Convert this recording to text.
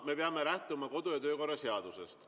Me peame lähtuma Riigikogu kodu‑ ja töökorra seadusest.